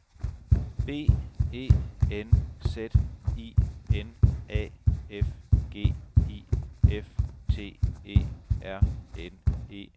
B E N Z I N A F G I F T E R N E